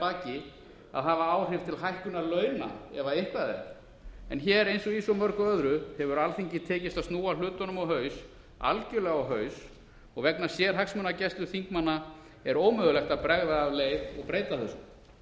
baki að hafa áhrif til hækkunar launa ef eitthvað er en hér eins og í svo mörgu öðru hefur alþingi tekist að snúa hlutunum á haus algjörlega á haus og vegna sérhagsmunagæslu þingmanna er ómögulegt að bregða af leið og breyta þessu